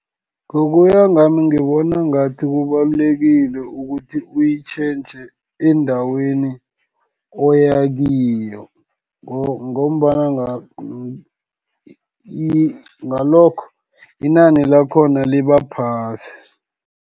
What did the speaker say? Ngokuya ngami, ngibona ngathi kubalulekile ukuthi uyitjhentjhe endaweni oyakiyo, ngalokho, inani lakhona libaphasi.